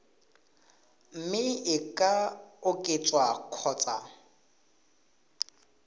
mme e ka oketswa kgotsa